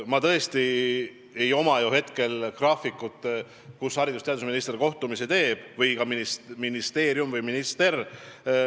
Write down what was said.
Mul tõesti ei ole hetkel siin graafikut, kus haridus- ja teadusministril või ministeeriumi esindajatel kohtumised on.